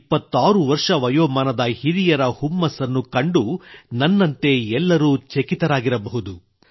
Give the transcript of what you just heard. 126 ವರ್ಷ ವಯೋಮಾನದ ಹಿರಿಯರ ಹುಮ್ಮಸ್ಸನ್ನು ಕಂಡು ನನ್ನಂತೆ ಎಲ್ಲರೂ ಆಶ್ಚರ್ಯಚಕಿತರಾಗಿರಬಹುದು